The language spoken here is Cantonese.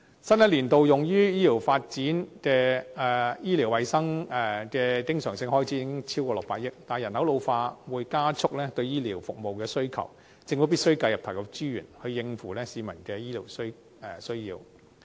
新一年度用於醫療衞生的經常性開支已超過600億元，但人口老化會加速對醫療服務的需求，政府必須繼續投入資源，以應付市民的醫療需求。